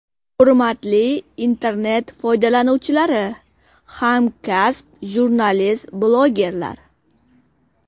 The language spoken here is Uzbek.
Hurmatli internet foydalanuvchilari, hamkasb jurnalistlar, blogerlar!